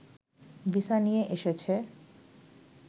visa নিয়ে এসেছে